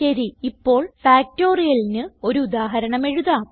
ശരി ഇപ്പോൾ Factorialന് ഒരു ഉദാഹരണം എഴുതാം